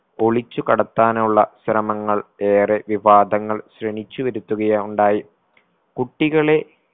ഒളിച്ചു കടത്താനുള്ള ശ്രമങ്ങൾ ഏറെ വിവാദങ്ങൾ ക്ഷണിച്ചു വരുത്തുകയാ ഉണ്ടായി കുട്ടികളെ